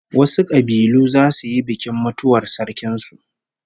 Wasu kabilu zasu yi bikin mutuwar sarkin su